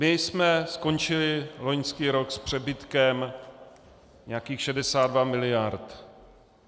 My jsme skončili loňský rok s přebytkem nějakých 62 miliard.